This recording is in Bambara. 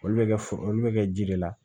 Olu bɛ kɛ olu bɛ kɛ ji de la